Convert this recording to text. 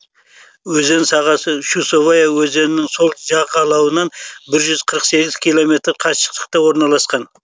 өзен сағасы чусовая өзенінің сол жағалауынан бір жүз қырық сегіз километр қашықтықта орналасқан